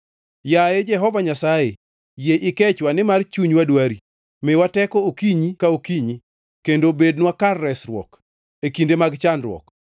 Yaye Jehova Nyasaye, yie ikechwa; nimar chunywa dwari. Miwae teko okinyi ka okinyi, kendo bednwa kar resruok, e kinde mag chandruok.